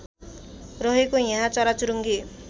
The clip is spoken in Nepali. रहेको यहाँ चराचुरुङ्गी